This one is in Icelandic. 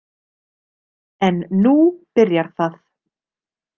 En nú byrjar það.